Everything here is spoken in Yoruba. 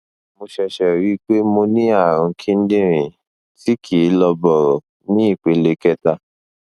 mo ṣẹṣẹ ríi pé mo ní ààrùn kíndìnrín tí kìí lọ bọrọ ní ìpele kẹta